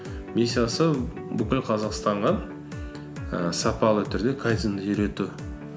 миссиясы бүкіл қазақстанға ііі сапалы түрде кайдзенді үйрету